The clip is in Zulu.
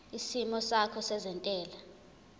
isimo sakho sezentela